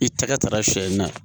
I tɛgɛ taara sɛ in na